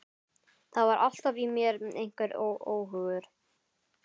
Það var alltaf í mér einhver óhugur.